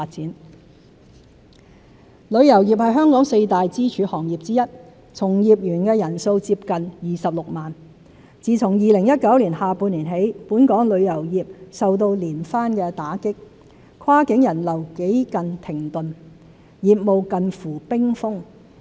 支援旅遊業旅遊業是香港四大支柱行業之一，從業員人數接近26萬。自2019年下半年起，本港旅遊業受到連番打擊，跨境人流幾近停頓，業務近乎冰封。